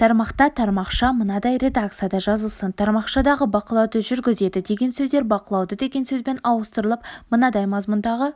тармақта тармақша мынадай редакцияда жазылсын тармақшадағы бақылауды жүргізеді деген сөздер бақылауды деген сөзбен ауыстырылып мынадай мазмұндағы